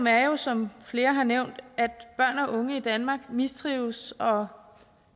er jo som flere har nævnt at børn og unge i danmark mistrives og